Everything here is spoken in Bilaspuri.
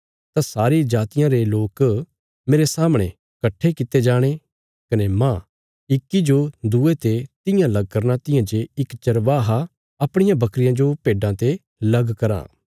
तां सारी जातियां रे लोक मेरे सामणे कट्ठे कित्ते जाणे कने मांह इक्की जो दूये ते तियां लग करना तियां जे इक चरवाहा अपणियां बकरियां जो भेड्डां ते लग कराँ